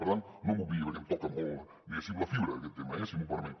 per tant no m’ho obviï perquè em toca molt diguéssim la fibra aquest tema eh si m’ho permet